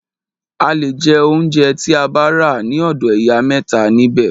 A le jẹ óunjẹ tí a bá rà ní ọ̀dọ̀ ìyá mẹ́ta nibẹ̀.